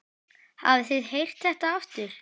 Hafið þið heyrt þetta aftur?